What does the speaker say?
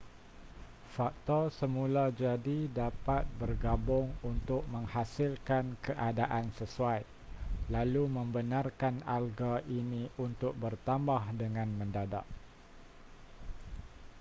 faktor semula jadi dapat bergabung untuk menghasilkan keadaan sesuai lalu membenarkan alga ini untuk bertambah dengan mendadak